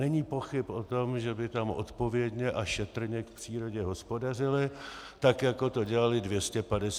Není pochyb o tom, že by tam odpovědně a šetrně k přírodě hospodařili, tak jako to dělali 250 let předtím.